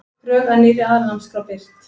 Drög að nýrri aðalnámskrá birt